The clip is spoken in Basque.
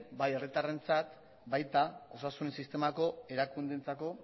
bai herritarrentzat baita osasun sistemako erakundeentzako